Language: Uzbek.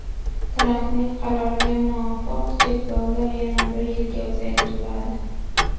Trampning qaroriga muvofiq cheklovlar yana bir yilga uzaytiriladi.